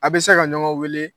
A' bɛ se ka ɲɔgɔn weele